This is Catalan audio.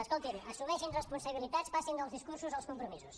escolti’m assumeixin responsabilitats passin dels discursos als compromisos